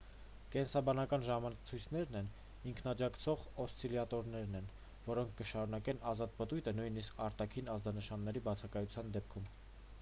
կենսաբանական ժամացույցներն ինքնաջակցող օսցիլյատորներ են որոնք կշարունակեն ազատ պտույտը նույնիսկ արտաքին ազդանշանների բացակայության դեպքում